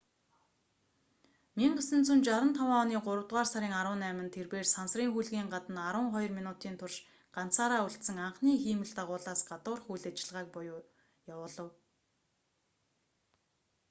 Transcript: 1965 оны гуравдугаар сарын 18-нд тэрбээр сансрын хөлгийн гадна арван хоёр минутын турш ганцаараа үлдсэн анхны хиймэл дагуулаас гадуурх үйл ажиллагааг eva буюу явуулав